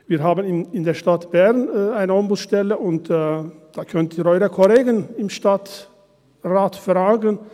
Wir haben in der Stadt Bern eine Ombudsstelle, und da können Sie Ihre Kollegen im Stadtrat fragen: